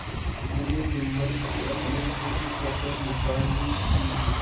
जिन्हें जुम्मन से अपनी कुछ कसर निकालनी थी